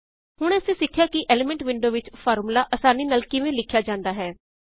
ਹੁਣੇ ਅਸੀਂ ਸਿਖਿਆ ਕਿ ਐਲੀਮੈਂਟ ਵਿੰਡੋ ਵਿੱਚ ਫ਼ਾਰਮੂਲਾ ਆਸਾਨੀ ਨਾਲ ਕਿਵੇਂ ਲਿਖਿਆ ਜਾਂਦਾ ਹੈ